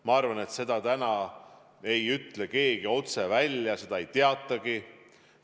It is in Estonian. Ma arvan, et seda ei ütle täna keegi otse välja, seda ei teatagi.